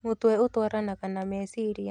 Mũtwe ũtwaranaga na meciria